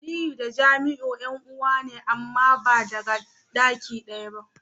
Aliyu da Jamiu yan'uwa ne amma ba daga daki daya ba.